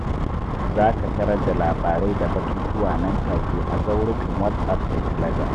Za ka tarar da labarai da batutuwa nan take a zaurukan WhatsApp da Telegram.